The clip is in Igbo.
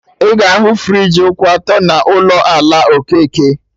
Ị ga ahụ friji kwụ ọtọ n'ụlọ ala Okeke